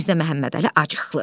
Mirzə Məhəmmədəli acıqlı.